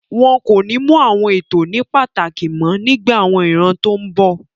Wọn kò ní mú àwọn ètò ní pàtàkì mọ́ nígbà àwọn ìran tó n bọ̀